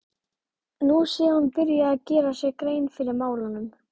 Nú sé hún byrjuð að gera sér grein fyrir málunum.